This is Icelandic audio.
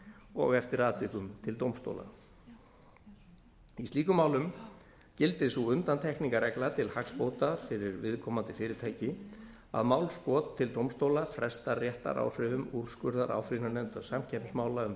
og eftir atvikum til dómstóla í slíkum málum gildir sú undantekningarregla til hagsbóta fyrir viðkomandi fyrirtæki að málskot til dómstóla frestar réttaráhrifum úrskurðar áfrýjunarnefndar samkeppnismála um